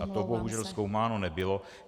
A to bohužel zkoumáno nebylo.